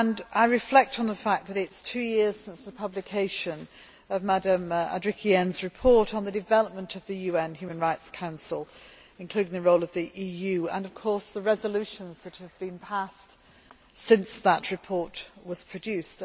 I reflect on the fact that it is two years since the publication of Ms Andrikienė's report on the development of the UN Human Rights Council, including the role of the EU, and on the resolutions that have been passed since that report was produced.